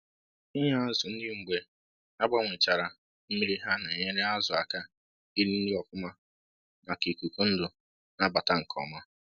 Ị nye azyu nri mgbe agbanwechara mmiri ha na-enyere azụ aka iri nri ọfụma maka ịkụkụ ndu na abata nke ọma